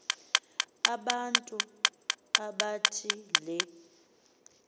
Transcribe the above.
abantu abathi le